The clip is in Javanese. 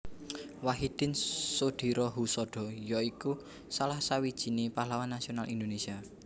Wahidin Soedirohoesodo ya iku salah sawijiné pahlawan nasional Indonesia